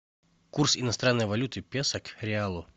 курс иностранной валюты песо к реалу